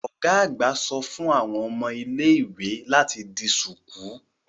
Ọ́ga àgbà só fun àwọn ómo ile-iwe lati di ṣuku